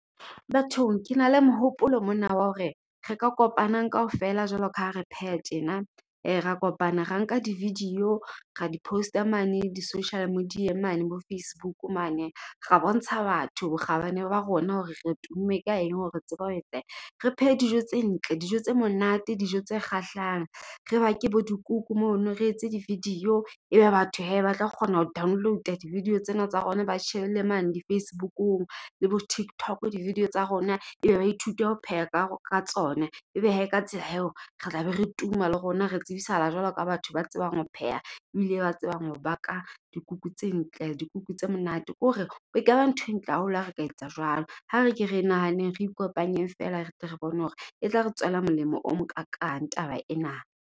Bathong ke na le mehopolo mona wa hore re ka kopanang kaofela jwalo ka ha re pheha tjena. Ra kopana ra nka di-video ra di post-a mane di-social media-eng mane bo Facebook mane. Ra bontsha batho bokgabane ba rona, hore re tumme ka eng hore re tseba ho , re phehe dijo tse ntle. Dijo tse monate, dijo tse kgahlang, re bake bo dikuku mono re etse di-video. E be batho hee batla kgona ho download-a di-video tsena tsa rona. Ba di shebelle mane di-Facebook-ung le bo TikTok di-video tsa rona e be ba ithute ho pheha ka ka tsona. Ebe hee ka tsela eo, re tla be re tuma le rona re tsebisahala jwalo ka batho ba tsebang ho pheha, ebile ba tsebang ho baka dikuku tse ntle. Dikuku tse monate ke hore ekaba ntho e ntle haholo. Ha re ka etsa jwalo. Ha re ke re nahaneng re ikopanye feela, re tle re bone hore e tla re tswela molemo o mo kakang taba ena.